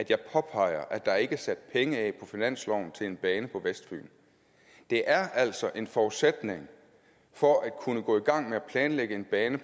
jeg påpeger at der ikke er sat penge af på finansloven til en bane på vestfyn det er altså en forudsætning for at kunne gå i gang med at planlægge en bane